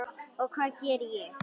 Og hvað gerði ég?